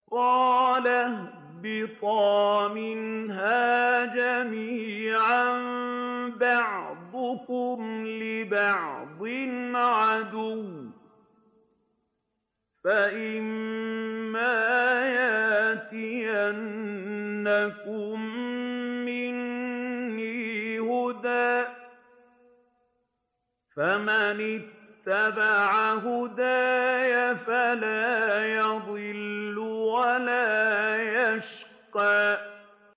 قَالَ اهْبِطَا مِنْهَا جَمِيعًا ۖ بَعْضُكُمْ لِبَعْضٍ عَدُوٌّ ۖ فَإِمَّا يَأْتِيَنَّكُم مِّنِّي هُدًى فَمَنِ اتَّبَعَ هُدَايَ فَلَا يَضِلُّ وَلَا يَشْقَىٰ